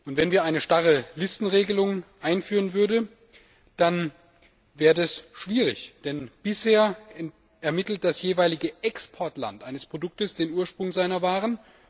Wenn wir eine starre Listenregelung einführen würden, dann wäre das schwierig, denn bisher ermittelt das jeweilige Exportland eines Produkts den Ursprung seiner Waren.